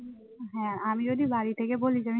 হ্যাঁ আমি যদি বাড়ি থেকে বলি